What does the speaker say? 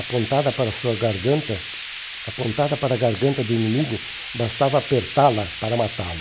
apontada para a sua garganta, Apontada para a garganta do inimigo, bastava apertá-la para matá-lo.